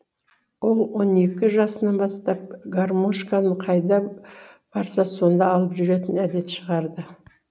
ол он екі жасынан бастап гармошканы қайда барса сонда алып жүретін әдет шығарды